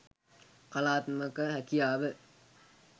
කලාත්මක හැකියාව